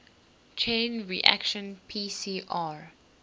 chain reaction pcr